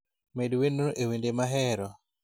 med wendno e wende mahero